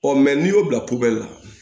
Ɔ n'i y'o bila la